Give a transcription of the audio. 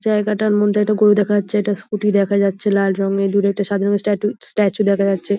জায়গাটার মধ্যে একটা গরু দেখা যাচ্ছে। একটা স্কুটি দেখা যাচ্ছে লাল রঙের দূরে একটা সাদা রঙের স্ট্যাটু স্ট্যাচু দেখা যাচ্ছে।